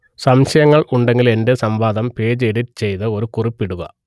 സംശയങ്ങൾ ഉണ്ടെങ്കിൽ എന്റെ സംവാദം പേജ് എഡിറ്റ് ചെയ്ത് ഒരു കുറിപ്പ് ഇടുക